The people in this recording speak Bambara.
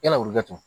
Yala wili kɛ